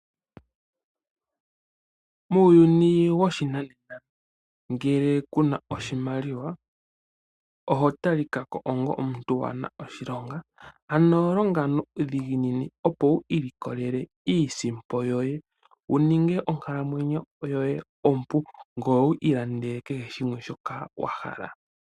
Muuyuni woshinanena ngele kuna oshimaliwa oho talikako onga omuntu waana oshilonga. Ano longa nuudhiginini opo wu ilikolele iisimpo yoye wumone onkalamwenyo yoye ompu, ngoye wu ilandele kehe shimwe shoka wahala.